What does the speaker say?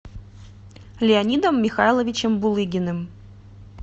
леонидом михайловичем булыгиным